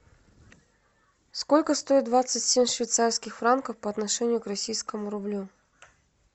сколько стоит двадцать семь швейцарских франков по отношению к российскому рублю